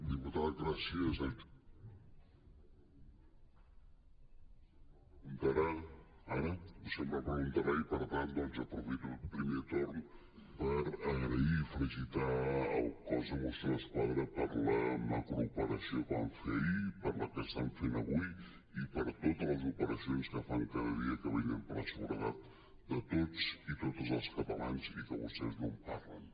diputat gràcies sempre preguntarà i doncs per tant aprofito el primer torn per agrair i felicitar el cos de mossos d’esquadra per la ma·crooperació que van fer ahir per la que estan fent avui i per totes les operacions que fan cada dia que vetllen per la seguretat de totes i totes els catalans i que vostès no en parlen